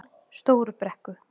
Stóru Brekku